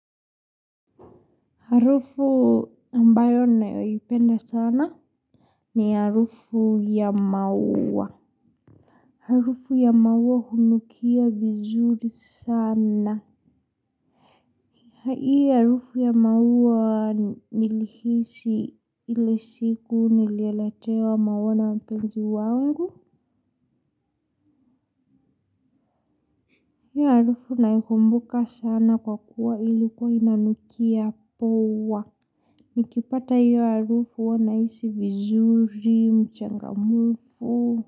Harufu ambayo nayoipenda sana ni harufu ya maua. Harufu ya maua hunukia vizuri sana. Hii harufu ya maua nilihisi ile siku niliyoletewa maua na mpenzi wangu. Hiyo harufu naikumbuka sana kwa kuwa ilikuwa inanukia poa. Nikipata hiyo harufu huwa nahisi vizuri mchangamufu.